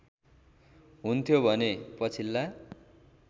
हुन्थ्यो भने पछिल्ला